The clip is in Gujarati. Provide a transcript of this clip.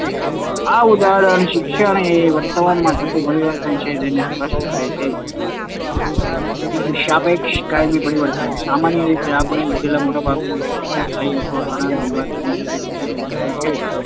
આ ઉદાહરણ શિક્ષણ એ વર્તનમાં થતું પરિવર્તન છે તે સ્પષ્ટ કરે છે. ત્રીજું સાપેક્ષ કાયમી પરિવર્તન સામાન્ય રીતે આપણે લીધેલું મોટા ભાગનું શિક્ષણ સ્થાયી અથવા ઘણા લાંબા સમય સુધી ટકી રહેનારું હોય છે.